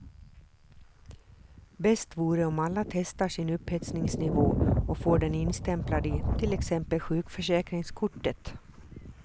Bäst vore om alla testar sin upphetsningsnivå och får den instämplad i till exempel sjukförsäkringskortet.